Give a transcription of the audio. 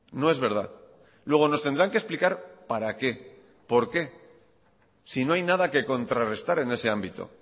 no es verdad luego nos tendrán que explicar para qué por qué si no hay nada que contrarrestar en ese ámbito